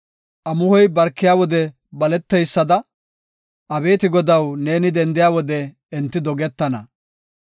Amuhoy barkiya wode baleteysada, abeeti Godaw, neeni dendiya wode, enti dogetana.